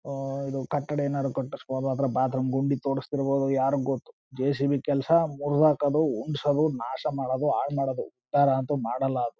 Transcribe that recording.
ಓಹ್ ಓಹ್ ಕಟ್ಡಡ ಏನಾರು ಕಟ್ಸ್ಬಹುದು ಆದ್ರೆ ಬಾತ್ರೂಮ್ ಗುಂಡಿ ತೋಡ್ಸ್ತಿರಬಹುದು ಯಾರಿಗೊತ್ತು. ಜೆ_ಸಿ_ಬಿ ಕೆಲಸ ಮುರುದಾಕದು ಉಂಟುಸದು ನಾಶ ಮಾಡೋದು ಹಾಳ್ ಮಾಡೋದು. ಉದ್ದಾರ ಅಂತು ಮಾಡಲ್ಲ ಅದು.